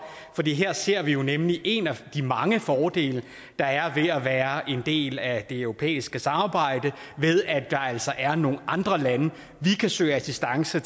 her ser vi jo virkelig en af de mange fordele der er ved at være en del af det europæiske samarbejde ved at der altså er nogle andre lande vi kan søge assistance